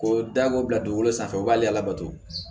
Ko da ko bila dugukolo sanfɛ o b'ale labato